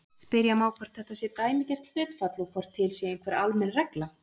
Spyrja má hvort þetta sé dæmigert hlutfall og hvort til sé einhver almenn regla.